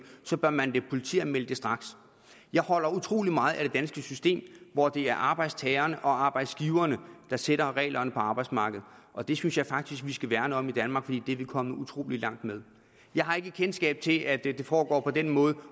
så bør man da politianmelde det straks jeg holder utrolig meget af det danske system hvor det er arbejdstagerne og arbejdsgiverne der fastsætter reglerne for arbejdsmarkedet og det synes jeg faktisk vi skal værne om i danmark for det er vi kommet utrolig langt med jeg har ikke kendskab til at det foregår på den måde